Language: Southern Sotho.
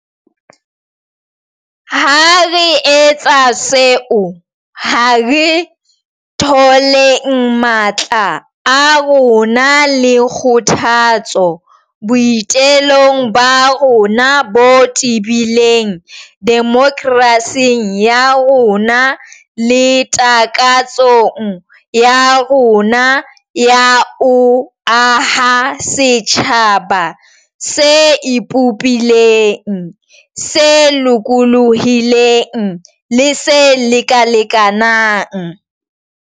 Ha re etsa seo, ha re tholeng matla a rona le kgothatso boi telong ba rona bo tebileng demokerasing ya rona le takatsong ya rona ya ho aha setjhaba se ipopileng, se lokolohileng le se lekalekanang.